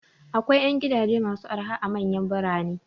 Akwai 'yan gidaje masu araha a manyan birane.